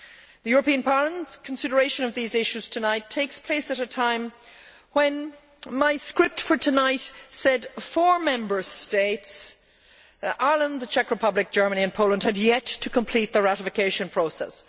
The European Parliament's consideration of these issues tonight takes place at a time when my script for tonight said four Member States Ireland, the Czech Republic, Germany and Poland had yet to complete their ratification process.